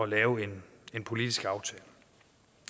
lave en politisk aftale